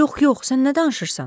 Yox, yox, sən nə danışırsan?